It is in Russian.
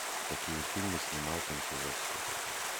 какие фильмы снимал кончаловский